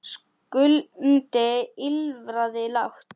Skundi ýlfraði lágt.